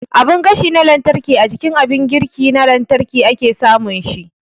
Abin gashi na lantarki a jikin abin girki na lantarki ake samun shi